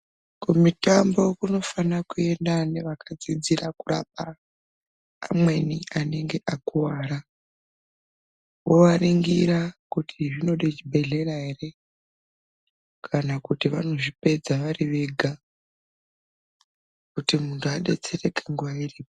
Kumitambo kunofana kuenda nevakadzidzira kurapa amweni anenge akuwara kuwaringira kuti zvinode chibhedhlera ere kana kuti vanozvipedza varivega